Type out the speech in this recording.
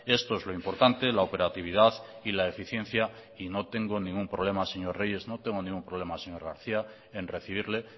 esto es lo importante la operatividad y la eficiencia y no tengo ningún problema señor reyes no tengo ningún problema señor garcía en recibirle